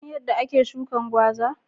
Ka San yadda ake shukin gwaza?